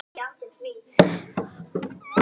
Tók upp skeiðina og potaði í hann.